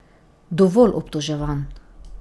Dovolj obtoževanj!